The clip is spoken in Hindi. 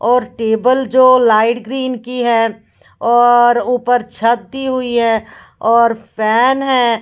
और टेबल जो लाइट ग्रीन की है और ऊपर छत्ती हुई है और फैन है।